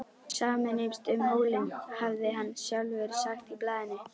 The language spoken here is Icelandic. Sameinumst um hólinn, hafði hann sjálfur sagt í blaðinu.